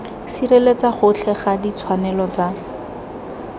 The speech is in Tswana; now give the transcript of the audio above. sireletsa gotlhe ga ditshwanelo tsa